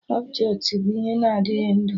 Ọbjetị bụ ihe na-adịghị ndụ